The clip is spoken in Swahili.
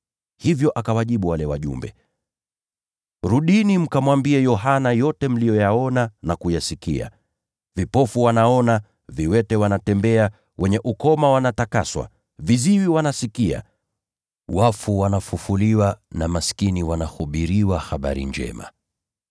Hivyo akawajibu wale wajumbe, “Rudini mkamwambie Yohana yote mnayoyaona na kuyasikia: Vipofu wanapata kuona, viwete wanatembea, wenye ukoma wanatakaswa, viziwi wanasikia, wafu wanafufuliwa na maskini wanahubiriwa habari njema.